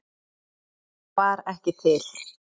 Hún var ekki til.